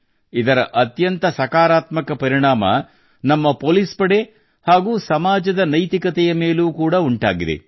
ಇದರ ಅತ್ಯಂತ ಸಕಾರಾತ್ಮಕ ಪರಿಣಾಮವು ನಮ್ಮ ಪೊಲೀಸ್ ಪಡೆ ಹಾಗೂ ಸಮಾಜದ ನೈತಿಕತೆಯ ಮೇಲೂ ಕೂಡಾ ಉಂಟಾಗಿದೆ